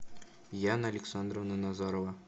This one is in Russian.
яна александровна назарова